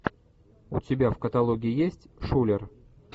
у тебя в каталоге есть шулер